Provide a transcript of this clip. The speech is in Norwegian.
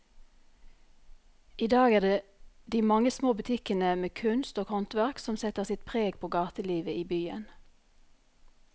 I dag er det de mange små butikkene med kunst og håndverk som setter sitt preg på gatelivet i byen.